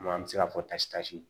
An bɛ se ka fɔ tasitasi